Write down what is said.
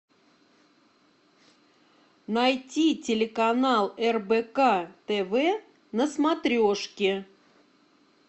найти телеканал рбк тв на смотрешке